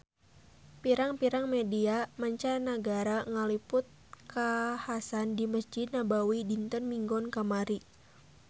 Pirang-pirang media mancanagara ngaliput kakhasan di Mesjid Nabawi dinten Minggon kamari